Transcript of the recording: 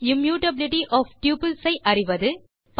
immutability of tuples ஐ அறிவது